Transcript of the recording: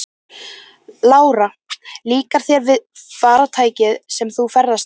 Lára: Líkar þér við farartækið sem þú ferðast með?